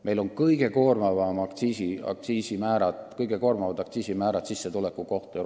Meil on Euroopa kõige koormavamad aktsiisimäärad sissetuleku kohta.